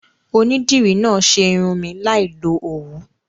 Onídìrí náà ṣe irun mi láì lo Òwú.